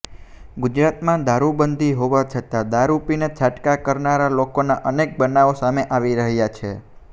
ગુજરાતમાં દારુબંધી હોવા છતા દારુ પીને છાટકા કરનારા લોકોના અનેક બનાવો સામે આવી રહ્યા છે